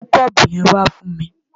Mú kọ́ọ̀bù yẹn wá fún mi!